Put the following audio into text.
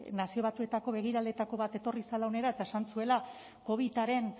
nazio batuetako begiraleetako bat etorri zela hona eta esan zuela covidaren